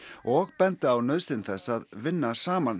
og benda á nauðsyn þess að vinna saman